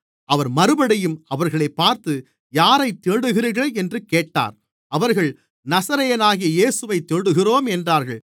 அவர் மறுபடியும் அவர்களைப் பார்த்து யாரைத் தேடுகிறீர்கள் என்று கேட்டார் அவர்கள் நசரேயனாகிய இயேசுவைத் தேடுகிறோம் என்றார்கள்